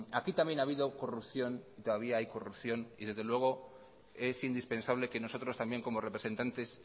aquí también ha habido corrupción y todavía hay corrupción y desde luego es indispensable que nosotros también como representantes